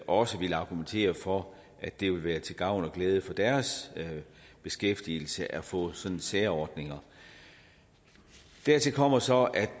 også ville argumentere for at det ville være til gavn og glæde for deres beskæftigelse at få sådanne særordninger dertil kommer så at